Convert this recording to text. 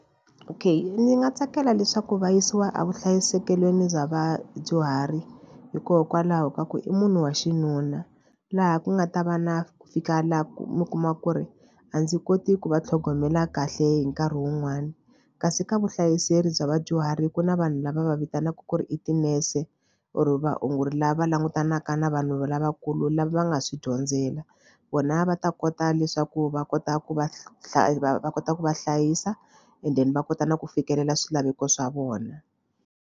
Okay ni nga tsakela leswaku va yisiwa evuhlayisekelweni bya vadyuhari hikokwalaho ka ku i munhu wa xinuna laha ku nga ta va na ku fika laha ku mi kuma ku ri a ndzi koti ku va tlhogomela kahle hi nkarhi wun'wani kasi ka vuhlayiseri bya vadyuhari ku na vanhu lava va vitanaka ku ri i tinese or vaongori lava langutanaka na vanhu lavakulu lava va nga swi dyondzela vona va ta kota leswaku va kota ku va va kota ku va hlayisa and then va kota na ku fikelela swilaveko swa vona.